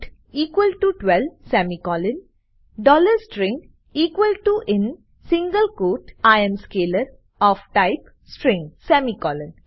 count 12 semicolon string in single quote I am scalar of type string semicolon